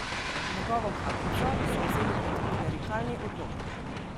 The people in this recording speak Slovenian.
Njegovo kaprico so vzeli kot klerikalni odlok.